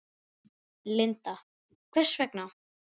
Linda: Hvers vegna?